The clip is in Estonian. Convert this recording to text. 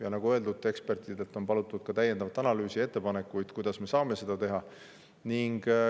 Ja nagu öeldud, ekspertidelt on palutud täiendavat analüüsi ja ettepanekuid, kuidas me saame seda teha.